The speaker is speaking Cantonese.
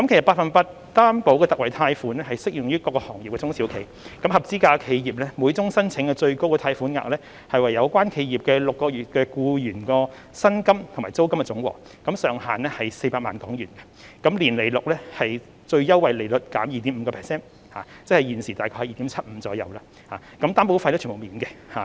百分百擔保特惠貸款適用於各個行業的中小企，合資格企業的每宗申請最高貸款額為有關企業的6個月僱員薪金和租金總和，上限是400萬港元，年利率是最優惠利率減 2.5%， 即現時大約是 2.75%， 擔保費用全免。